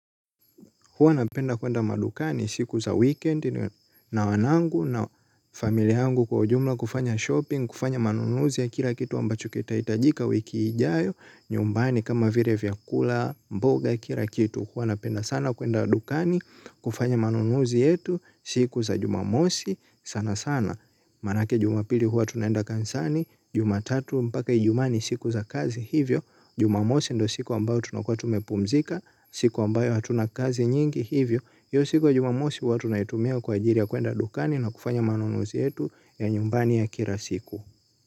Huwa napenda kuenda madukani siku za weekend na wanangu na familia yangu kwa ujumla kufanya shopping, kufanya manunuzi ya kila kitu ambacho kitahitajika wiki ijayo, nyumbani kama vile vyakula, mboga kila kitu. Huwa napenda sana kuenda dukani kufanya manunuzi yetu, siku za jumamosi sana sana. Manake Jumapili huwa tunaenda kanisani, Jumatatu mpaka Ijumaa ni siku za kazi hivyo Jumamosi ndiyo siku ambayo tunakuwa tumepumzika, siku ambayo hatuna kazi nyingi hivyo, hiyo siku ya Jumamosi huwa tunaitumia kwa ajili ya kuenda dukani na kufanya manunuzi yetu ya nyumbani ya kila siku.